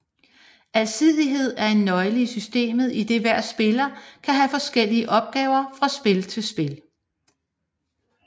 Alsidighed er en nøgle i systemet idet hver spiller kan have forskellige opgaver fra spil til spil